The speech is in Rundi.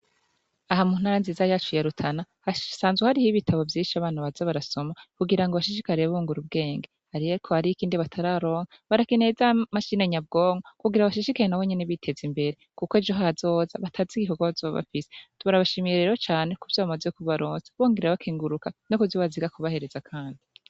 Aha mu ntara nziza yacu ya Rutana hasanzwe hariho ibitabu vyinshi abana baza barasoma kugirango bashishikare bungura ubwenge ariko hariho ikindi batararonka barakeneye za mashini nyabwonko kugira bashishikare nabonyene biteza imbere kuko ejo hazoza batazi igikorwa bazoba bafise, turabashimishiye rero cane kuvyo bamaze kubaronsa bongera bakenguruka no kuvyo baziga kubahereza kandi.